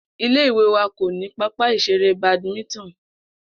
Ilé ìwé wa kò ní pápá ìs̩eré Badminton